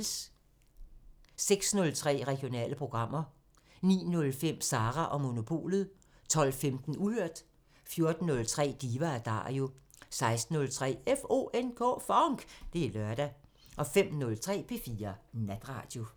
06:03: Regionale programmer 09:05: Sara & Monopolet 12:15: Uhørt 14:03: Diva & Dario 16:03: FONK! Det er lørdag 05:03: P4 Natradio